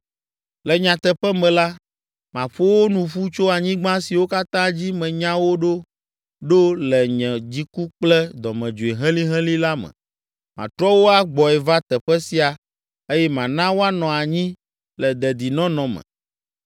“Le nyateƒe me la, maƒo wo nu ƒu tso anyigba siwo katã dzi menya wo ɖo ɖo le nye dziku kple dɔmedzoe helĩhelĩ la me. Matrɔ wo agbɔe va teƒe sia eye mana woanɔ anyi le dedinɔnɔ me.